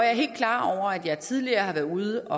er helt klar over at jeg tidligere har været ude